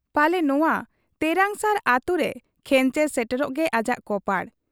ᱯᱟᱞᱮ ᱱᱚᱶᱟ ᱛᱮᱨᱟᱝᱥᱟᱨ ᱟᱹᱛᱩᱨᱮ ᱠᱷᱮᱸᱪᱮᱨ ᱥᱮᱴᱮᱨᱚᱜ ᱜᱮ ᱟᱡᱟᱜ ᱠᱚᱯᱟᱲ ᱾